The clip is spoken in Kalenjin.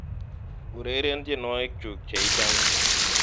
ureren tyenwogikyuk cheichome